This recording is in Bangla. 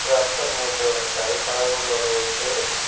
রাস্তার মধ্যে অনেক গাড়ি খাড়া করানো রয়েছে।